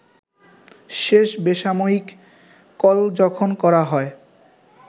শেষ বেসামরিক কল যখন করা হয়